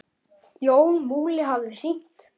Þannig leið þér best.